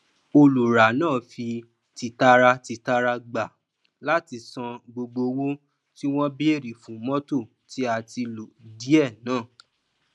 olùrá náà fi tìtaratìtara gba láti san gbogbo owó tí wọn béèrè fún mọtò tí a ti lò díẹ náà